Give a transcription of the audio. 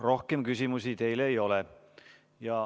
Rohkem küsimusi teile ei ole.